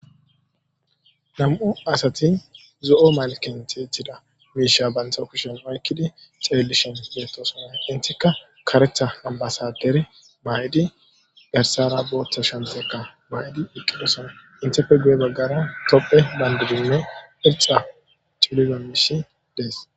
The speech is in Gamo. Nam'u asati zo'o malken teethida miisha bantho kushen waykkidi ceellishen geettooso makentikka karetha nambasader baay'di garsara booththa shantekka baydi iqqidosona intefe guye baggara topphe bandidinne irxa culidamish dees.